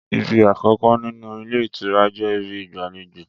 Ìbí àkọkọ nínú ilé ìtura jẹ ìbí ìgbàléjo.